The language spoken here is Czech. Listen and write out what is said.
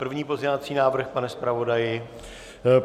První pozměňovací návrh, pane zpravodaji?